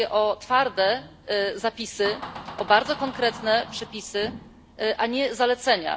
Apeluje o twarde zapisy, o bardzo konkretne przepisy, a nie zalecenia.